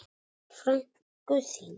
Frænku þína?